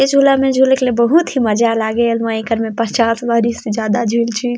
ए झूला में झूले ले बहुत ही मजा लागेल एकरा में मैं पचास से ज्यादा झूले चूक हूँ।